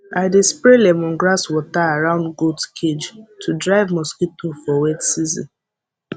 i dey spray lemongrass water around goat cage to drive mosquito for wet season